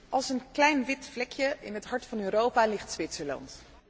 Als een klein wit vlekje in het hart van Europa ligt Zwitserland.